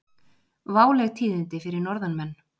Váleg tíðindi fyrir norðanmenn